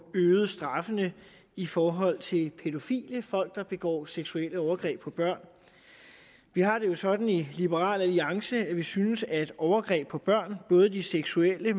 øget straffene i forhold til pædofile altså folk der begår seksuelle overgreb på børn vi har det jo sådan i liberal alliance at vi synes at overgreb på børn både de seksuelle